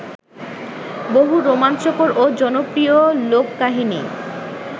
বহু রোমাঞ্চকর ও জনপ্রিয় লোককাহিনি